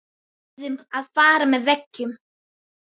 Við urðum að fara með veggjum.